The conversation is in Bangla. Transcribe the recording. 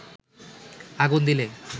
আগুন দিলে